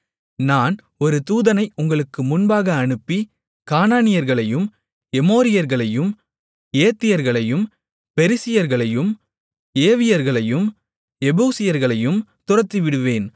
நான் ஒரு தூதனை உங்களுக்கு முன்பாக அனுப்பி கானானியர்களையும் எமோரியர்களையும் ஏத்தியர்களையும் பெரிசியர்களையும் ஏவியர்களையும் எபூசியர்களையும் துரத்திவிடுவேன்